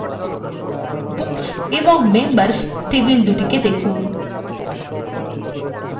books এবং members table দুটিকে দেখুন